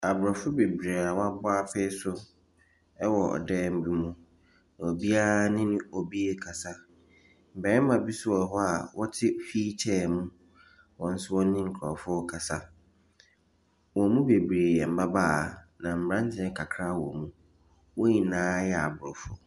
Aborɔfo bebree wabɔ apee so ɛwɔ ɔdan bi mu. Obiaa ne obi kasa. Bɛɛma bi so wɔ hɔ a ɔte hwilkyɛɛ mu wɔnso wɔne nkorɔfo kasa. Wɔn mu bebree yɛ mbabaawa na mberantiɛ kakra wɔ mu. Wonyinaa yɛ aborɔfo.